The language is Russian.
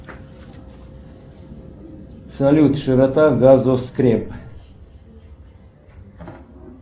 салют широта газоскреп